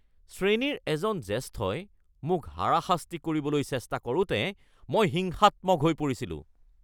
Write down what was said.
শ্ৰেণীৰ এজন জ্যেষ্ঠই মোক হাৰাশাস্তি কৰিবলৈ চেষ্টা কৰোঁতে মই হিংসাত্মক হৈ পৰিছিলোঁ